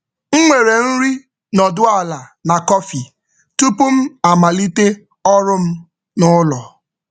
M nwere nri nọdụ ala na kọfị tupu m amalite ọrụ m n’ụlọ.